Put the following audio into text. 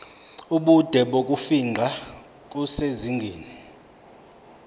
ubude bokufingqa kusezingeni